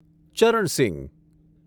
Charan Singh